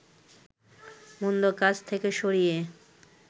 মন্দ কাজ থেকে সরিয়ে